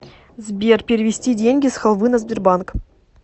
сбер перевести деньги с халвы на сбербанк